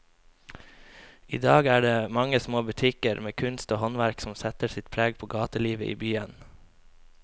I dag er det de mange små butikkene med kunst og håndverk som setter sitt preg på gatelivet i byen.